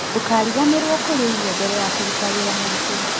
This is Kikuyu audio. Ndũkariganĩrwo kũrĩa irio mbere ya kũruta wĩra mũritũ